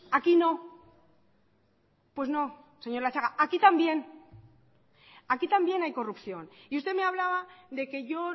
aquí no pues no señor latxaga aquí también aquí también hay corrupción y usted me hablaba de que yo